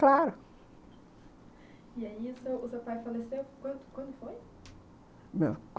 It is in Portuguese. Claro, e aí o seu seu pai faleceu, quando quando foi?